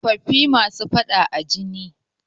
Tsofaffi masu faɗa a ji ne.